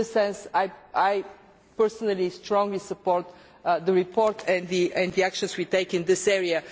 In this sense I personally strongly support the report and the actions we take in this area.